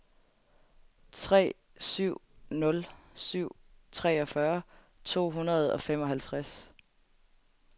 tre syv nul syv treogfyrre to hundrede og femoghalvtreds